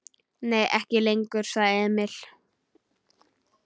Nei, ekki lengur, sagði Emil.